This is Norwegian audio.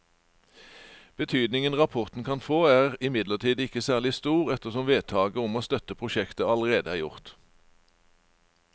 Betydningen rapporten kan få er imidlertid ikke særlig stor ettersom vedtaket om å støtte prosjektet allerede er gjort.